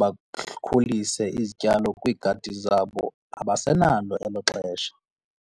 bakhulise izityalo kwiigadi zabo, abasenalo elo xesha.